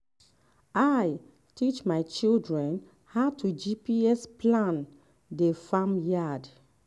i um teach my um children um how to gps plan the farm yard